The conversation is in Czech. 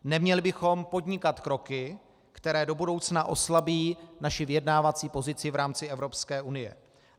Neměli bychom podnikat kroky, které do budoucna oslabí naši vyjednávací pozici v rámci Evropské unie.